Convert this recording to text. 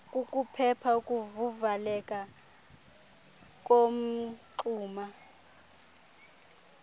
kukuphepha ukuvaleka komngxuma